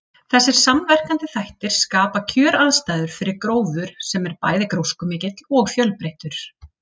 Þessir samverkandi þættir skapa kjöraðstæður fyrir gróður sem er bæði gróskumikill og fjölbreyttur.